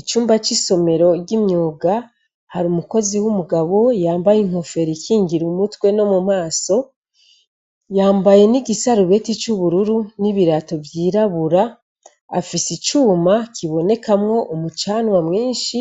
Icumba c' isomero ry' imyuga har umukozi w' umugabo yambay' inkofer' ikingir' umutwe no mu maso, yambaye n' igisarubeti c' ubururu n' ibirato vy'irabur' afis' icuma kirimw' umucanwa mwinshi,